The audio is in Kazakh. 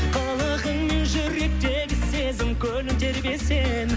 қылығыңмен жүректегі сезім көлін тербесең